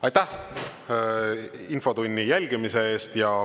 Aitäh infotunni jälgimise eest!